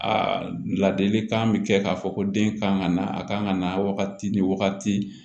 A ladilikan bɛ kɛ k'a fɔ ko den kan ka na a kan ka na wagati ni wagati